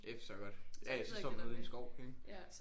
Det forstår jeg godt ja ja så står man ude i en skov ik